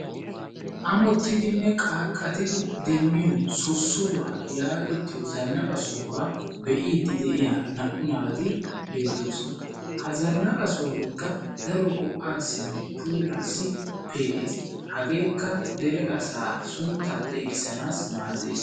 ammottidenne qaaqqatti demmiyoo sossoriwaa yaagetiyoo zannaqa sohuwaa be'idi de'iyaa naa"u naati beettoosona. ha zannaqa sohoykka daaro go"aasinne puulassi pee"ees. hageekka dere asaassi sunttaa xeeggisanaassi maaddees.